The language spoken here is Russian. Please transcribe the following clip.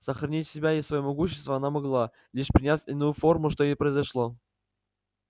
сохранить себя и своё могущество она могла лишь приняв иную форму что и произошло